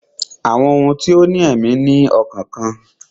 Àwọn ohun tó ní èmí ní ọkàn kan